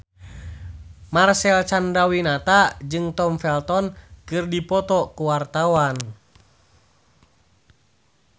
Marcel Chandrawinata jeung Tom Felton keur dipoto ku wartawan